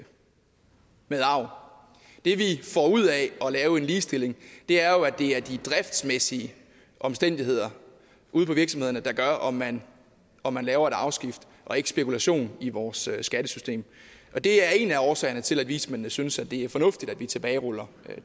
med arv det vi får ud af at lave en ligestilling er jo at det er de driftsmæssige omstændigheder ude på virksomhederne der gør om man om man laver et arveskifte og ikke spekulation i vores skattesystem og det er en af årsagerne til at vismændene synes at det er fornuftigt at vi tilbageruller